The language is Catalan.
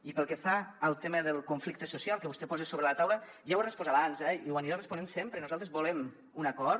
i pel que fa al tema del conflicte social que vostè posa sobre la taula ja ho he respost abans i ho aniré responent sempre nosaltres volem un acord